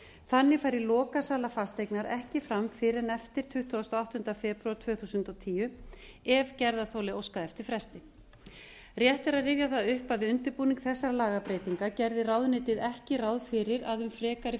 þannig færi lokasala fasteignar ekki fram fyrr en eftir tuttugustu og áttunda febrúar tvö þúsund og tíu ef gerðarþoli óskaði eftir fresti rétt er að rifja það upp að við undirbúning þessara lagabreytinga gerði ráðuneytið ekki ráð fyrir að um frekari